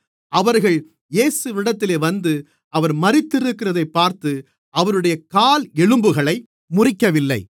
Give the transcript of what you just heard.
அவர்கள் இயேசுவினிடத்தில் வந்து அவர் மரித்திருக்கிறதைப் பார்த்து அவருடைய கால் எலும்புகளை முறிக்கவில்லை